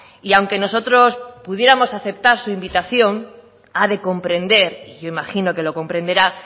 y aunque nosotros pudiéramos aceptar su invitación ha de comprender y yo imagino que lo comprenderá